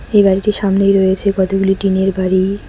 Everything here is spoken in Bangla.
এই বাড়িটির সামনেই রয়েছে কতগুলি টিনের বাড়ি।